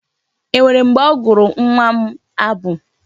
E nwere mgbe ọ gụụrụ nwa m abụ?